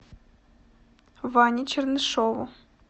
ване чернышеву